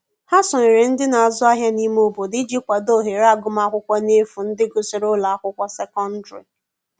Ha sonyere ndi n'azu ahia n'ime obodo iji kwado ohere agụma akwụkwo n'efu ndi gusiri ụlọ akwụkwo sekọndrị